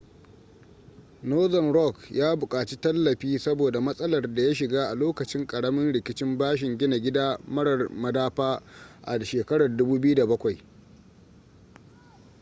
northern rock ya buƙaci tallafi saboda matsalar da ya shiga a lokacin ƙaramin rikicin bashin gina gida marar madafa a 2007